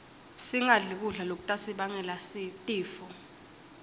singadli kudla lokutasibangela tifo